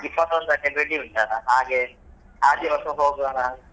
ಇಪ್ಪತ್ತೊಂದಕ್ಕೆ ಬೆಡಿ ಉಂಟಲ್ವಾ ಹಾಗೆ ಆ ದಿವಸ ಹೋಗೊಣ ಅಂತ.